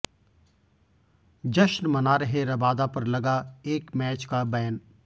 जश्न मना रहे रबादा पर लगा एक मैच का बैन